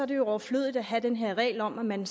det er overflødigt at have den her regel om at man